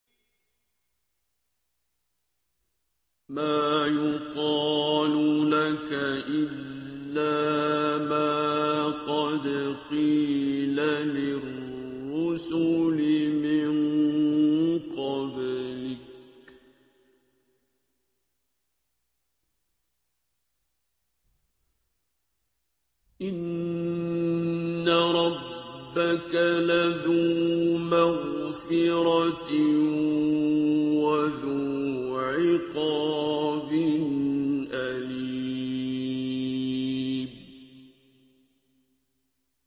مَّا يُقَالُ لَكَ إِلَّا مَا قَدْ قِيلَ لِلرُّسُلِ مِن قَبْلِكَ ۚ إِنَّ رَبَّكَ لَذُو مَغْفِرَةٍ وَذُو عِقَابٍ أَلِيمٍ